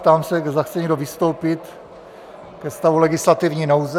Ptám se, zda chce někdo vystoupit ke stavu legislativní nouze.